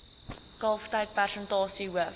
kalftyd persentasie hoof